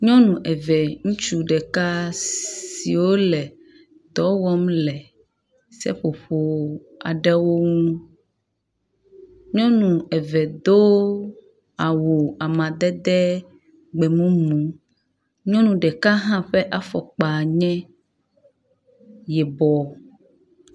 Nyɔnu eve ŋutsu ɖeka siwo le dɔ wɔm le seƒoƒo aɖewo ŋu. nyɔnu eve do awu amadede gbemumu. Nyɔnu ɖeka hã ƒe afɔkpa nye yibɔ.